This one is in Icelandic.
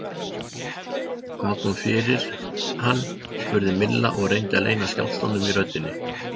Hvað kom fyrir hann? spurði Milla og reyndi að leyna skjálftanum í röddinni.